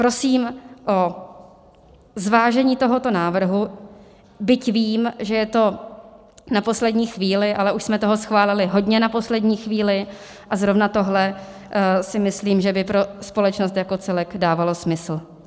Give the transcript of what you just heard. Prosím o zvážení tohoto návrhu, byť vím, že je to na poslední chvíli, ale už jsme toho schválili hodně na poslední chvíli a zrovna tohle si myslím, že by pro společnost jako celek dávalo smysl.